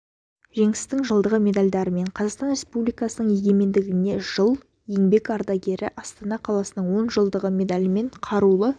жеңістің жылдығы медальдарымен қазақстан республикасының егемендігіне жыл еңбек ардагері астана қаласының он жылдығы медалімен қарулы